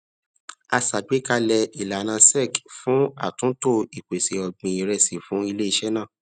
a ṣàgbékalẹ ìlànà sec fún atunto ìpèsè ọgbin iresi fún ilé iṣé naa